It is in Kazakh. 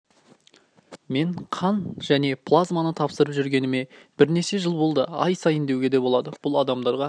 мен қан және плазманы тапсырып жүргеніме бірнеше жыл болды ай сайын деуге де болады бұл адамдарға